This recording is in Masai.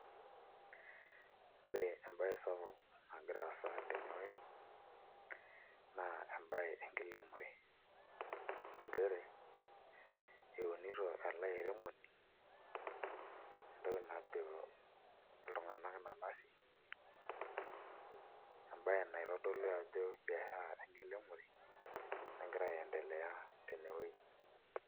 Ore embaye sapuk nagira aasa tenewuei naa embaye enkiremore nchere eunito ele airemoni entoki najo iltung'anak nanasi embaye naitodolu ajo biashara enkiremore nagira aiendelea tene wueji.